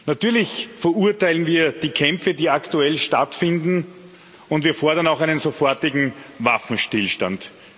Natürlich verurteilen wir die Kämpfe, die aktuell stattfinden, und wir fordern auch einen sofortigen Waffenstillstand.